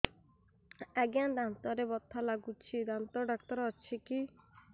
ଆଜ୍ଞା ଦାନ୍ତରେ ବଥା ଲାଗୁଚି ଦାନ୍ତ ଡାକ୍ତର ଅଛି କି